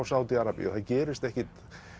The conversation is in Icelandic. Sádi Arabíu það gerist ekkert